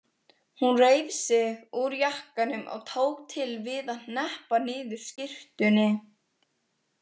Hún reif sig úr jakkanum og tók til við að hneppa niður skyrtunni.